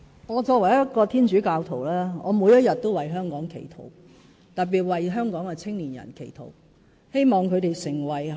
我作為一名天主教徒，我每天都為香港祈禱，特別為香港的青年人祈禱。